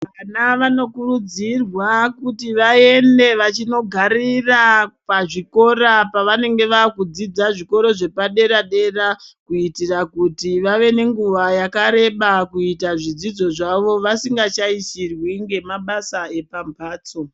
Vana vanokurudzirwa kuti vaende kunogarira pazvikora pavanenge vakudzidza pazvikora zvepadera-dera kuitira kuti vave nenguva yakareba kuita zvidzidzo zvavo vasingashaishirwi ngemabasa epamhatso.